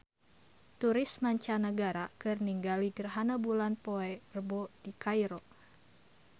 Turis mancanagara keur ningali gerhana bulan poe Rebo di Kairo